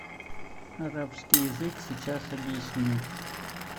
арабский язык сейчас объясню